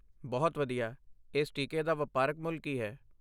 ਬਹੁਤ ਵਧੀਆ। ਇਸ ਟੀਕੇ ਦਾ ਵਪਾਰਕ ਮੁੱਲ ਕੀ ਹੈ?